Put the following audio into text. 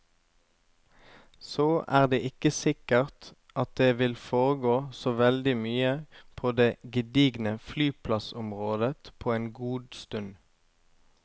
Så er det ikke sikkert at det vil foregå så veldig mye på det gedigne flyplassområdet på en god stund.